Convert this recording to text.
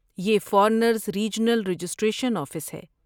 یہ foreigners regional registration office ہے۔